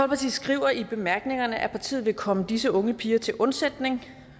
skriver i bemærkningerne at partiet vil komme disse unge piger til undsætning